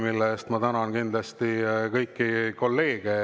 Selle eest ma tänan kindlasti kõiki kolleege.